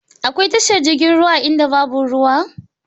Akwai tashar jirgin ruwa a inda babu ruwa?